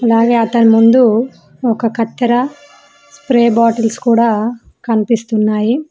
అలాగే అతని ముందు ఒక కత్తెర స్ప్రే బాటిల్స్ కూడా కనిపిస్తున్నాయి.